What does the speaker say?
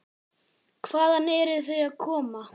Hvaðan eru þau að koma?